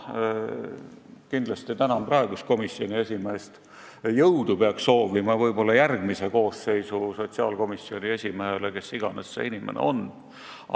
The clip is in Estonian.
Kindlasti tänan praegust komisjoni esimeest, jõudu peaks soovima võib-olla järgmise koosseisu sotsiaalkomisjoni esimehele, kes iganes see inimene on.